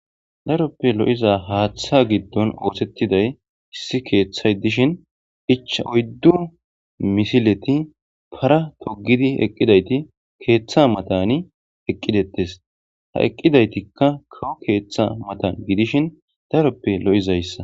Daroppe lo'iza haaththa giddon ootettiday issi keeththay dishin icha oyddu misileti para togidi eqqidayti keeththa matani eqqidettes ha eqqidaytikka koo keeththa matan gidishin daroppe lo'izayssa